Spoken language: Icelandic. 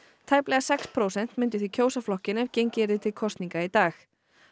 tæplega sex prósent myndu því kjósa flokkinn ef gengið yrði til kosninga í dag